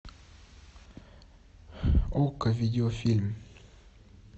окко видеофильм